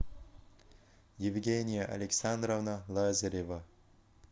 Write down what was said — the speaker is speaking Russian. евгения александровна лазарева